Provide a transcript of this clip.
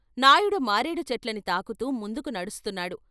నాయుడు మారేడు చెట్లని తాకుతూ ముందుకు నడుస్తున్నాడు.